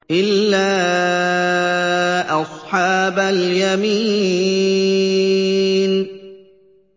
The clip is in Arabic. إِلَّا أَصْحَابَ الْيَمِينِ